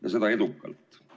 See läks edukalt.